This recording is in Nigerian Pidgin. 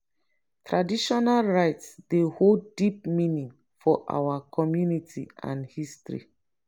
traditional rites dey hold deep meaning for our community and history.